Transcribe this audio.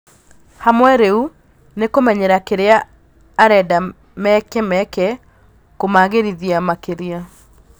"Hamwe rĩu nĩ kũmenyera kĩrĩa arenda meke-meke- kũmagĩrithia makĩria".